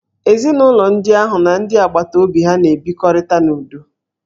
Ezinụlọ ahụ n'ndị agbataobi ha n'ebikọrịta n'udo